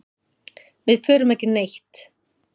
Við förum ekki neitt.